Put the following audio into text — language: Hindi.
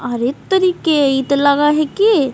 आरे तोरी के इ ते लगय हेय की--